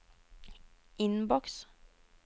innboks